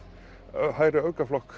hægri